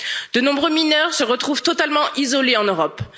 De nombreux mineurs se retrouvent totalement isolés en Europe.